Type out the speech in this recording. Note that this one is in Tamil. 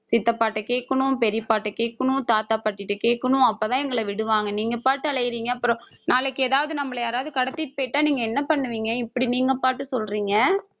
சித்தப்பாகிட்ட கேட்கணும், பெரியப்பாகிட்ட கேட்கணும், தாத்தா பாட்டி கிட்ட கேட்கணும், அப்பதான் எங்களை விடுவாங்க நீங்க பாட்டுக்கு அலையுறீங்க அப்புறம் நாளைக்கு ஏதாவது நம்மளை யாராவது கடத்திட்டு போயிட்டா நீங்க என்ன பண்ணுவீங்க இப்படி நீங்க பாட்டுக்கு சொல்றீங்க